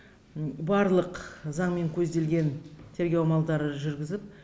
барлық заңмен көзделген тергеу амалдары жүргізіліп